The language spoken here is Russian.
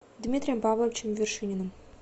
дмитрием павловичем вершининым